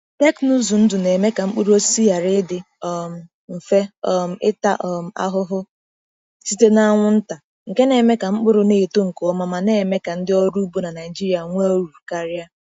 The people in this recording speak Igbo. Teknụzụ ndụ na-eme ka mkpụrụ osisi ghara ịdị um mfe um ịta um ahụhụ site n’anwụ nta, nke na-eme ka mkpụrụ na-eto nke ọma ma mee ka ndị ọrụ ugbo na Naijiria nwee uru karịa.